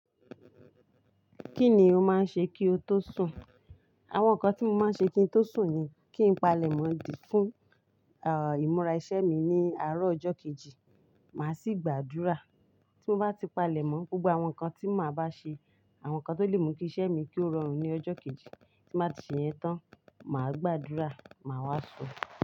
Kí ni o máa ń ṣe kí o tó sùn? Àwọn ǹkan tí mo máa ń ṣe kí n tó sùn ni kí n palẹ̀mọ́ dì fún, à, ìmúra iṣẹ́ mi ní àárọ̀ ọjọ́ kejì, màá sì gbàdúrà. Tí mo bá ti palẹ̀mọ́, gbogbo àwọn nkan tí máa bá ṣe, àwọn ǹkan tó lè mú kí iṣẹ́ mi kí ó rọrùn ní ọjọ́ kejì, tí n bá ti ṣeyẹn tán, màá gbàdúrà, màá wá sùn.